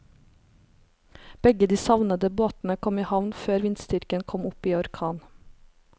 Begge de savnede båtene kom i havn før vindstyrken kom opp i orkan.